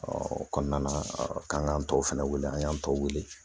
o kɔnɔna na k'an k'an tɔ fana wele an y'an tɔw wele